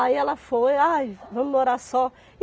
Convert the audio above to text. Aí ela foi, ai, vamos morar só.